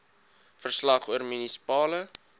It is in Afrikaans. verslag oor munisipale